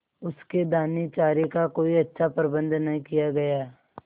उसके दानेचारे का कोई अच्छा प्रबंध न किया गया